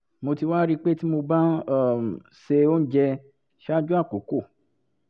mo ti wá rí i pé tí mo bá um ń se oúnjẹ ṣáájú àkókò